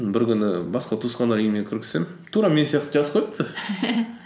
бір күні басқа туысқандардың үйіне тура мен сияқты жазып қойыпты